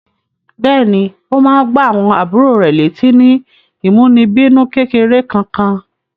Bẹ́ẹ̀ní, ó máa ń gbá àwọn àbúrò rẹ̀ létí ní ìmúnibínú kékeré Kankan.